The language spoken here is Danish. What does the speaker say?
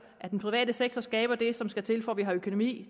at den private sektor skaber det som skal til for at vi har økonomi